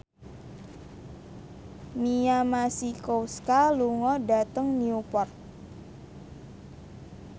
Mia Masikowska lunga dhateng Newport